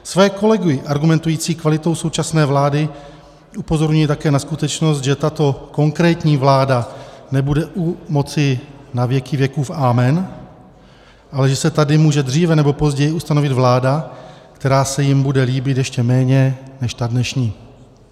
Svoje kolegy argumentující kvalitou současné vlády upozorňuji také na skutečnost, že tato konkrétní vláda nebude u moci na věky věkův amen, ale že se tady může dříve nebo později ustanovit vláda, která se jim bude líbit ještě méně než ta dnešní.